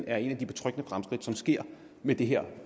er et af de betryggende fremskridt som sker med det her